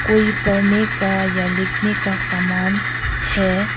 कोई पढ़ने का या लिखने का सामान है।